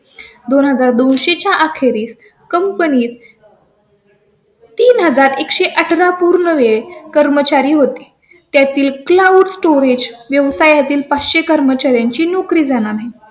दोन हजार दोनशे च्या अखेरीस कंपनी तीन हजार एक सो अठरा. पूर्णवेळ कर्मचारी होते. त्यातील क्लाउड स्टोरेज व्यवसाया तील पाच सो कर्मचाऱ्यांची नोकरी जाणार आहे.